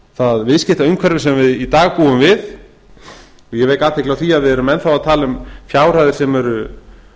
það viðskiptaumhverfi sem við í dag búum við ég vek athygli á því að við erum enn að tala um fjárhæðir sem eru